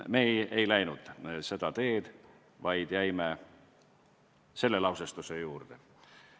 Meie ei läinud seda teed, vaid jäime oma lausestuse juurde.